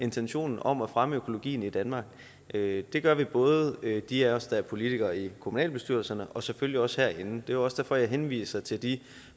intentionen om at fremme økologien i danmark det det gør både de af os der er politikere i kommunalbestyrelserne og selvfølgelig os der er herinde det er også derfor at jeg henviser til de